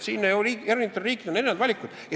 Nii et eri riikidel on erinevad valikud.